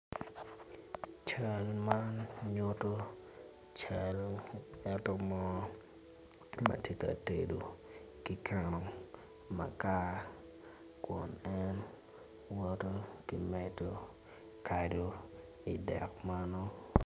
Cal man nyuto cal ngat mo ma tye ka tedo ki keno makar kun en woto ki medo kado i dek meno.